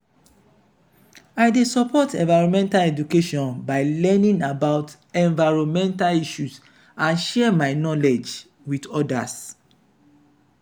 i dey support environmental education by learning about environmental issues and share my knowledge with odas.